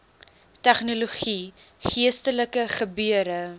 tegnologie geestelike gebeure